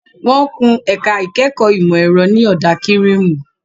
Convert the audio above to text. Wọ́n kun ẹ̀ka ìkẹ́kọ̀ọ́ ìmọ̀ ẹ̀rọ ní ọ̀dà kírìmù.